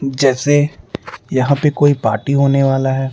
जैसे यहाँ पे कोई पार्टी होने वाला है।